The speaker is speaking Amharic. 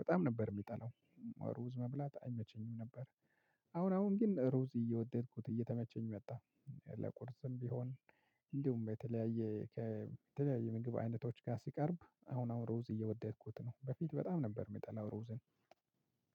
በጣም ነበር የሚጠላው ሩዝ መብላት አይመቸኝም ነበር። አሁን አሁን ግን ሩዝ እየወደድኩት እየተመቸኝ መጣ። ለቁርስም ቢሆን እንዲሁም በተለያየ ከተለያየ ምግብ አይነቶች ጋር ሲቀርብ አሁን አሁን ሮዝ እየወደድኩት ነው። በፊት በጣም ነበር የሚጠላው ሮዝን